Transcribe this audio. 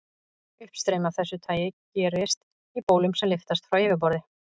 Uppstreymi af þessu tagi gerist í bólum sem lyftast frá yfirborði.